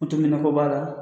ko b'a la